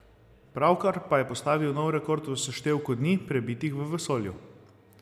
Pravkar pa je postavil nov rekord v seštevku dni, prebitih v vesolju.